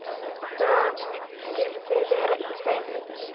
Hvað skyldi vera í þeim?